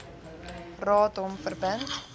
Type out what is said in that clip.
raad hom verbind